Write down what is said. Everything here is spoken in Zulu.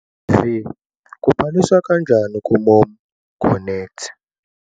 v Kubhaliswa kanjani kuMomConnect?